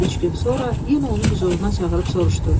Üç gün sonra yenə onu hüzuruna çağırıb soruşdu: